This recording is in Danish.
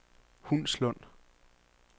Hundslund